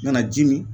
Nana ji mi